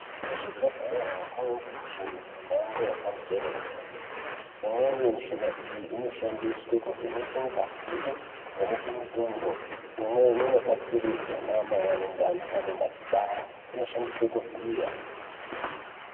Kuzvibhedhlera kwaange mishina yepamusoro yedera dera imweni mishina iyi inoshandiswa kuvheneka ngazi kuvheneke mutundo imweni inobatsiridze ana mai ane ndani paanenge achibara inoshandiswe kuvhiya.